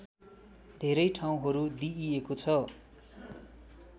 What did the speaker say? धेरै ठाउँहरू दिइएको छ